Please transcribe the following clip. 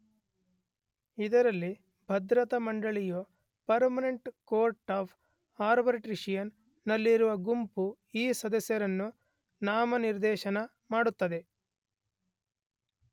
ಇದರಲ್ಲಿ ಭದ್ರತಾ ಮಂಡಳಿಯು ಪರ್ಮನೆಂಟ್ ಕೋರ್ಟ್ ಆಫ್ ಆರ್ಬಿಟ್ರೇಶನ್ ನಲ್ಲಿರುವ ಗುಂಪು ಈ ಸದಸ್ಯರನ್ನು ನಾಮನಿರ್ದೇಶನ ಮಾಡುತ್ತದೆ.